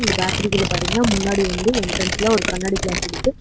பேக்கரிக்குள்ள பாத்தீங்கன்னா முன்னாடி வந்து என்ட்ரன்ஸ்ல ஒரு கண்ணாடி கிளாஸ் இருக்கு.